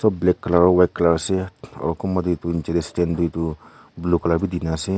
black color aro white color ase aro kunba de tu niche de stand de tu blue color b dina ase.